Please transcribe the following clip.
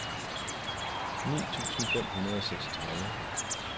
ni tusind fem hundrede og seksogtredive